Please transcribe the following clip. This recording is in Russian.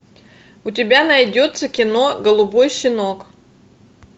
у тебя найдется кино голубой щенок